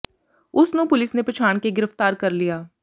ਉਸ ਨੂੰ ਪੁਲਿਸ ਨੇ ਪਛਾਣ ਕੇ ਗ੍ਰਿਫ਼ਤਾਰ ਕਰ ਲਿਆ